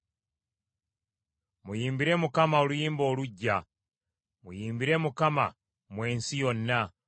Muyimbire Mukama oluyimba oluggya; muyimbire Mukama mmwe ensi yonna.